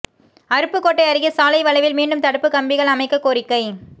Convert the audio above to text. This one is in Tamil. அருப்புக்கோட்டை அருகே சாலை வளைவில் மீண்டும் தடுப்புக் கம்பிகள் அமைக்கக் கோரிக்கை